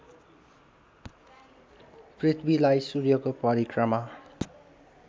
पृथ्वीलाई सूर्यको परिक्रमा